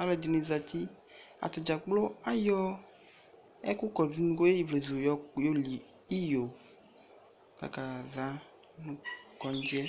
aluɛɖini zeti, atadzakplo ayɔ ɛku kɔɖʋ nʋ unukue ivlezu yɔ li iyo nʋ kondziɛ